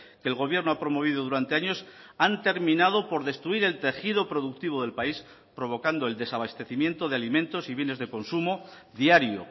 que el gobierno ha promovido durante años han terminado por destruir el tejido productivo del país provocando el desabastecimiento de alimentos y bienes de consumo diario